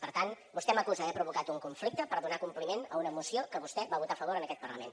per tant vostè m’acusa d’haver provocat un conflicte per donar compliment a una moció que vostè va votar a favor en aquest parlament